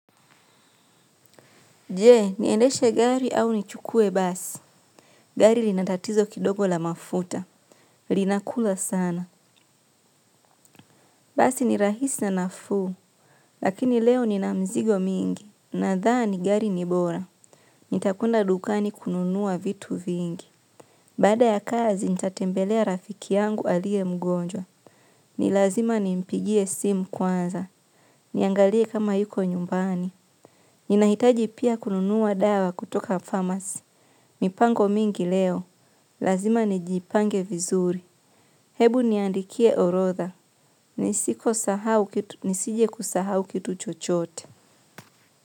Je, niendeshe gari au nichukue basi. Gari lina tatizo kidogo la mafuta. Linakula sana. Basi ni rahisi na nafuu. Lakini leo nina mizigo mingi. Nadhani gari ni bora. Nitakwenda dukani kununua vitu vingi. Baada ya kazi, nitatembelea rafiki yangu aliye mgonjwa. Ni lazima nimpigie simu kwanza. Niangalie kama yuko nyumbani. Ninahitaji pia kununua dawa kutoka pharmacy. Mipango mingi leo. Lazima nijipange vizuri. Hebu niandikie orodha. Nisiposahau kitu nisije kusahau kitu chochote.